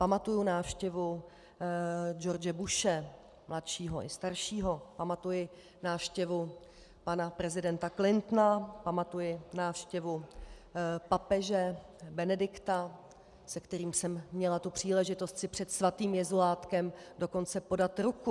Pamatuji návštěvu George Bushe mladšího i staršího, pamatuji návštěvu pana prezidenta Clintona, pamatuji návštěvu papeže Benedikta, se kterým jsem měla tu příležitost si před svatým Jezulátkem dokonce podat ruku.